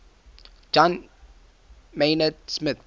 john maynard smith